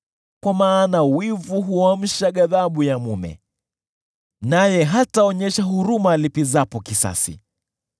kwa maana wivu huamsha ghadhabu ya mume, naye hataonyesha huruma alipizapo kisasi.